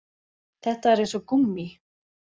Þetta er eins og gúmmí